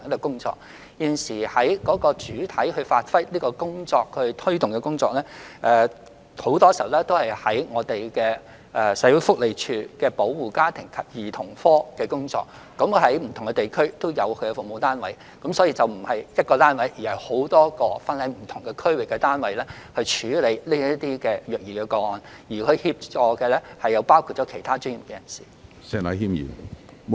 目前，主要負責推動這項工作的部門往往都是社署保護家庭及兒童服務課，它在不同地區均有服務單位，所以虐兒個案並非由一個單位處理，而是由多個分散各區的單位處理，其他專業人士亦會提供協助。